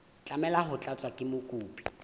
tlameha ho tlatswa ke mokopi